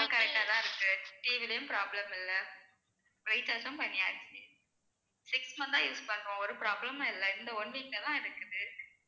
correct ஆதான் இருக்கு TV லயும் problem இல்ல recharge ம் பண்ணியாச்சு six month ஆ use பண்றோம் ஒரு problem மும் இல்ல இந்த one week லதான் இருக்குது